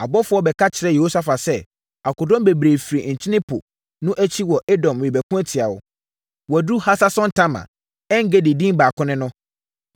Abɔfoɔ bɛka kyerɛɛ Yehosafat sɛ, “Akodɔm bebree firi Nkyene Po no akyi wɔ Edom rebɛko atia wo. Wɔaduru Hasason-Tamar” (En-Gedi din baako ne no).